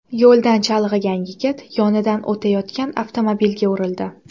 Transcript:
Yo‘ldan chalg‘igan yigit yonidan o‘tayotgan avtomobilga urildi.